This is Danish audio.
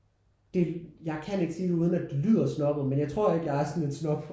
Det jeg kan ikke sige det uden at det lyder snobbet men jeg tror ikke jeg er sådan en snob